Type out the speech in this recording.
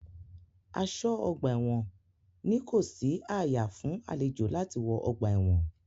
Aṣọ́-ọgbà-ẹ̀wọn ní kò sí ààyà fún àlejò láti wọ ọgbà-ẹ̀wọn.